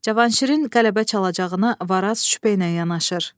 Cavanşirin qələbə çalacağına Varaz şübhə ilə yanaşır.